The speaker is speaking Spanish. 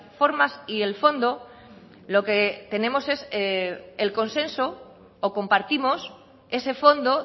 formas y el fondo lo que tenemos es el consenso o compartimos ese fondo